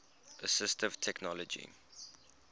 assistive technology